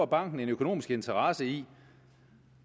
banken en økonomisk interesse i